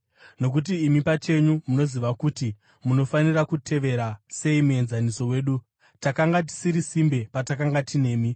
Nokuti imi pachenyu munoziva kuti munofanira kutevera sei muenzaniso wedu. Takanga tisiri simbe patakanga tinemi,